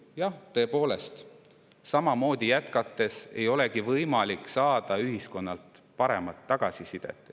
Jah, tõepoolest, samamoodi jätkates ei olegi võimalik saada ühiskonnalt paremat tagasisidet.